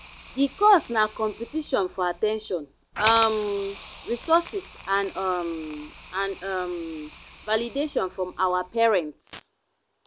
di cause na competition for at ten tion um resources and um and um validation from our parents.